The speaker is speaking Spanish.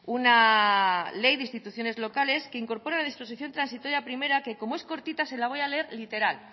una ley de instituciones locales que incorpora la disposición transitoria primera que como es cortita se la voy a leer literal